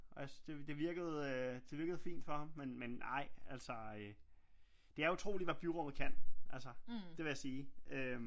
Og jeg det virkede fint for ham men ej altså øh det er utroligt hvad byrummet kan altså det vil jeg øh